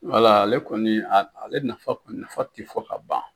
Wala ale kɔni ale nafa, nafa tɛ fɔ ka ban